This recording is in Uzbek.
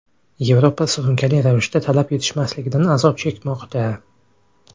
Yevropa surunkali ravishda talab yetishmasligidan azob chekmoqda.